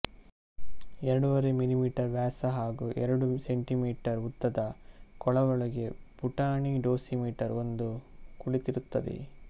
ಎರಡೂವರೆ ಮಿಲಿಮೀಟರ್ ವ್ಯಾಸ ಹಾಗೂ ಎರಡು ಸೆಂಟಿಮೀಟರ್ ಉದ್ದದ ಕೊಳವೆಯೊಳಗೆ ಪುಟಾಣಿ ಡೋಸಿಮೀಟರ್ ಒಂದು ಕುಳಿತಿರುತ್ತದೆ